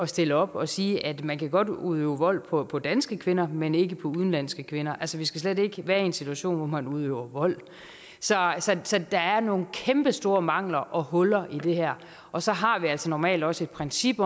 stille op og sige at man godt kan udøve vold på på danske kvinder men ikke på udenlandske kvinder altså vi skal slet ikke være i en situation hvor man udøver vold så der er nogle kæmpestore mangler og huller i det her og så har vi altså normalt også et princip